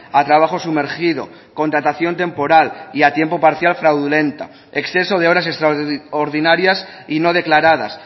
a trabajo sumergido contratación temporal y a tiempo parcial fraudulenta exceso de horas extraordinarias y no declaradas